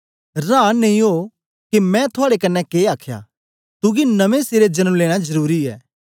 रांन नेई ओ के मैं थुआड़े कन्ने के आखया तुगी नमें सिरे जन्म लेना जरुरी ऐ